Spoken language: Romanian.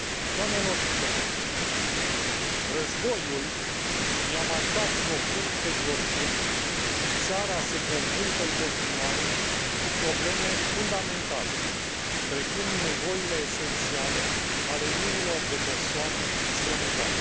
Doamnelor și domnilor, războiul i a marcat profund pe georgieni și țara se confruntă în continuare cu probleme fundamentale, precum nevoile esențiale ale miilor de persoane strămutate.